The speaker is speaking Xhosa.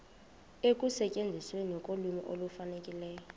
ekusetyenzisweni kolwimi olufanelekileyo